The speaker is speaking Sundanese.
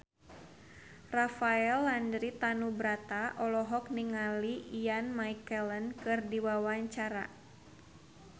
Rafael Landry Tanubrata olohok ningali Ian McKellen keur diwawancara